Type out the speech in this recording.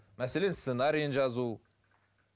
мәселен сценариін жазу